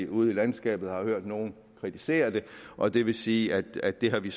ude i landskabet hørt nogen kritisere det og det vil sige at det har vi